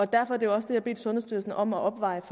derfor jeg har bedt sundhedsstyrelsen om at afveje